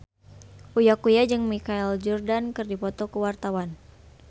Uya Kuya jeung Michael Jordan keur dipoto ku wartawan